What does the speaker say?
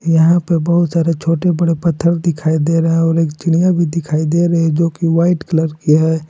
यहां पे बहुत सारे छोटे बड़े पत्थर दिखाई दे रहा है और एक चिड़िया भी दिखाई दे रही है जो की वाइट कलर की है।